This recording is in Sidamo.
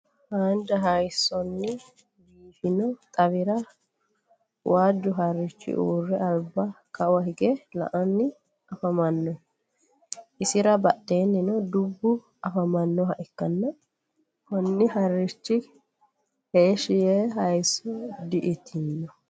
haanja hayisonni biifinno xawira waaju harichi uure alibba Kawa higge la'anni afamanno isira badheennino dubbu afamannoha ikanna kunni harichi heeshi ye hayiso di'itinno.